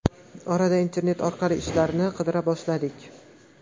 Orada internet orqali ishlarni qidira boshladik.